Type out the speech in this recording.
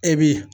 E bi